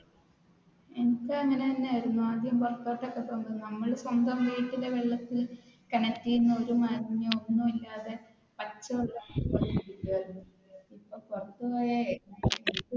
എനിക്കും അങ്ങനെ തന്നെയായിരുന്നു ആദ്യം പുറത്തോട്ട് ഒക്കെ പോകുമ്പോൾ നമ്മൾ സ്വന്തം വീട്ടിൽ വെള്ളത്തിൽ കിണറ്റിൽ നിന്ന് ഒരു മാലിന്യവും ഒന്നും ഇല്ലാതെ